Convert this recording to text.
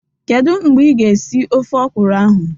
Kedu mgbe ị ga esi ofe ọkwụrụ ahụ?